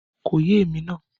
Kò yé èmi náà